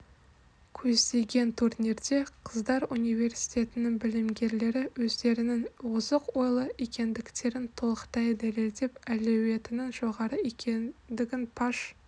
көздеген турнирде қыздар университетінің білімгерлері өздерінің озық ойлы екендіктерін толықтай дәлелдеп әлеуетінің жоғары екендігін паш